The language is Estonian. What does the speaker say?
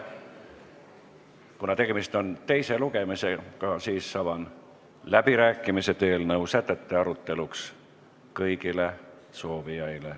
Kuna tegemist on teise lugemisega, siis avan läbirääkimised eelnõu sätete aruteluks, kus saavad osaleda kõik soovijad.